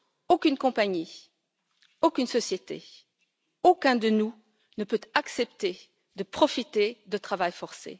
Aucune compagnie, aucune société, aucun de nous ne peut accepter de profiter du travail forcé.